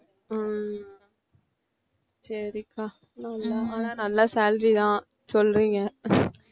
ஹம் சரிக்கா நல்ல ஆனா நல்ல salary தான் சொல்றீங்க